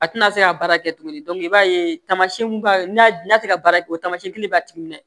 A tɛna se ka baara kɛ tuguni i b'a ye tamasiyɛn n'a tɛ ka baara kɛ o tamasiyɛn kelen b'a timinan